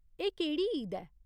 एह् केह्ड़ी ईद ऐ ?